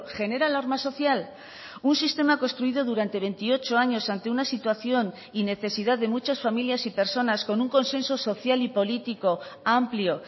genera alarma social un sistema construido durante veintiocho años ante una situación y necesidad de muchas familias y personas con un consenso social y político amplio